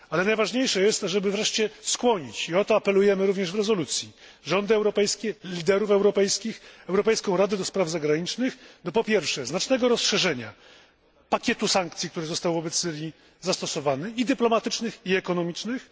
Ale najważniejsze jest, żeby wreszcie skłonić i o to apelujemy również w rezolucji rządy europejskie, liderów europejskich, europejską Radę do Spraw Zagranicznych, po pierwsze, do znacznego rozszerzenia pakietu sankcji, które zostały zastosowane wobec Syrii dyplomatycznych i ekonomicznych.